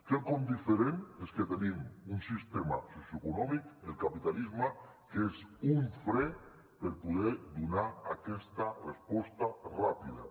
quelcom diferent és que tenim un sistema socioeconòmic el capitalisme que és un fre per poder donar aquesta resposta ràpida